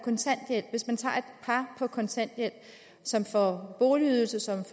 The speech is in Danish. kontanthjælp som får boligydelse og som